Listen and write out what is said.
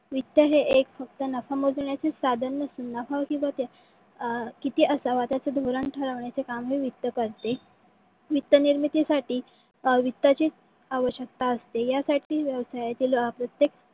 वित्त हे एक फक्त नख मोजण्याचे साधन नसून अं कीती असाव्यात त्याचे धोरण ठरवण्याचे काम हे वित्त करते . वित्त निर्मितीसाठी वित्ताची आवशक्यता असते. यासाठी व्यवसायातील प्रत्येक